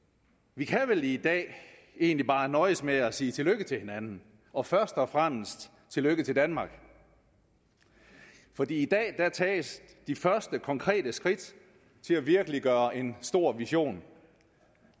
vi kan vel i dag egentlig bare nøjes med at sige tillykke til hinanden og først og fremmest tillykke til danmark for i dag tages de første konkrete skridt til at virkeliggøre en stor vision